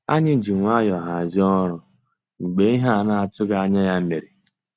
Ànyị́ jì nwayọ́ọ̀ hàzíé ọ́rụ́ mgbeé íhé á ná-àtụ́ghị́ ànyá yá mérè.